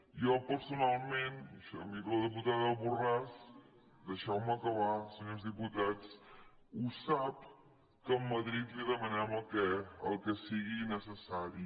jo personalment i miro la dipu tada borràs deixeu me acabar senyors diputats ho sap que a madrid li demanem el que sigui necessari